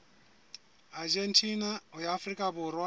argentina ho ya afrika borwa